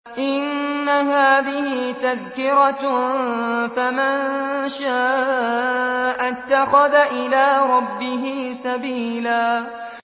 إِنَّ هَٰذِهِ تَذْكِرَةٌ ۖ فَمَن شَاءَ اتَّخَذَ إِلَىٰ رَبِّهِ سَبِيلًا